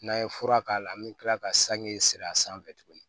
N'an ye fura k'a la an bɛ tila ka sange siri a sanfɛ tuguni